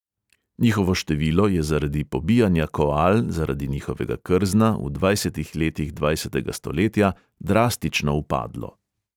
Njihovo število je zaradi pobijanja koal zaradi njihovega krzna v dvajsetih letih dvajsetega stoletja drastično upadlo.